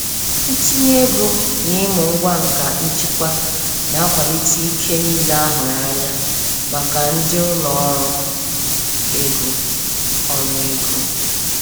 Ntinye oge n'ịmụ ngwa nka njikwa na-akwalite ike niile a hụrụ anya maka ndị ụlọ ọrụ ego. ọrụ ego.